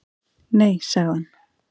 """Nei, sagði hann."""